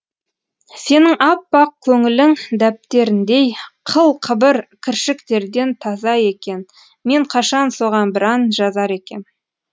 сенің аппақ көңілің дәптеріндей қыл қыбыр кіршіктерден таза екен мен қашан соған бір ән жазар екем